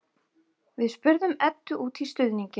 Við spurðum Eddu út í stuðninginn.